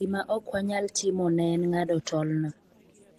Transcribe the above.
Gima ok wanyal timo ne en ng'ado tolno.